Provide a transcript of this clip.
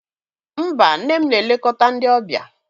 Mba, nne m na-elekọta ndị ọbịa.